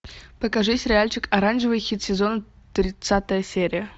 покажи сериальчик оранжевый хит сезона тридцатая серия